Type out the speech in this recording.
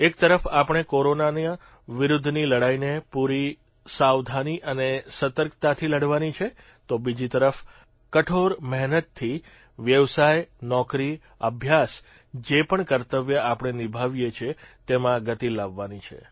એક તરફ આપણે કોરોના વિરૂદ્ધની લડાઇને પૂરી સાવધાની અને સતર્કતાથી લડવાની છે તો બીજી તરફ કઠોળ મહેનતથી વ્યવસાય નોકરી અભ્યાસ જે પણ કર્તવ્ય આપણે નિભાવીએ છીએ તેમાં ગતિ લાવવાની છે